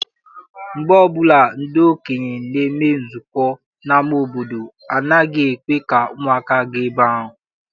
Mgbe ọbụla ndị okenye na-eme nzukọ n'ama obodo, ha anaghị ekwe ka ụmụaka gaa ebe ahụ.